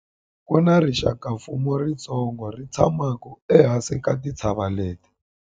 ku na rixakamfuwo ritsongo ri tshamaka ehansi ka tintshava leti